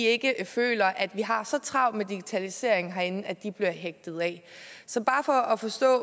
ikke føler at vi har så travlt med digitalisering herinde at de bliver hægtet af så bare for at forstå